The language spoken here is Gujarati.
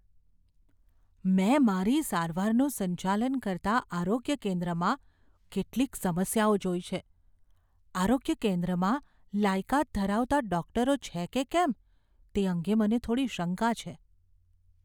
મેં મારી સારવારનું સંચાલન કરતા આરોગ્ય કેન્દ્રમાં કેટલીક સમસ્યાઓ જોઈ છે. આરોગ્ય કેન્દ્રમાં લાયકાત ધરાવતા ડૉક્ટરો છે કે કેમ તે અંગે મને થોડી શંકા છે.